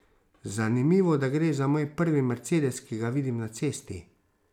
Zanimivo, da gre za moj prvi mercedes, ki ga vidim na cesti.